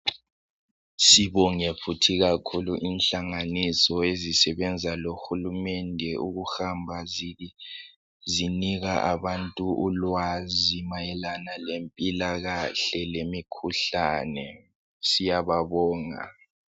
Sibonge futhi kakhulu inhlanganiso ezisebenza lo hulumende ukuhamba zinika abantu ulwazi mayelana lempilakahle lemikhuhlane. Siyababonga